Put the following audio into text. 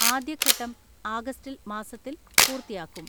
ആദ്യഘട്ടം ആഗസ്റ്റിൽ മാസത്തിൽ പൂർത്തിയാക്കും.